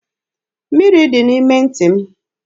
Mmiri dị n'ime ntị m.